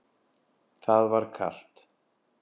Það var kalt.